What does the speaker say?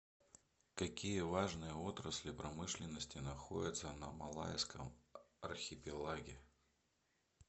какие важные отрасли промышленности находятся на малайском архипелаге